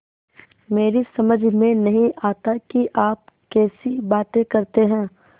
मेरी समझ में नहीं आता कि आप कैसी बातें करते हैं